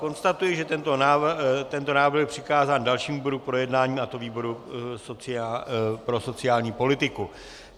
Konstatuji, že tento návrh byl přikázán dalšímu výboru k projednání, a to výboru pro sociální politiku.